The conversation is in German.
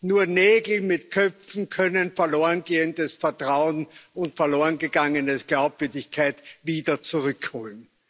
Nur Nägel mit Köpfen können verloren gehendes Vertrauen und verloren gegangene Glaubwürdigkeit wieder zurückholen.